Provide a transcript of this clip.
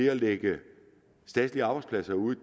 at lægge statslige arbejdspladser ud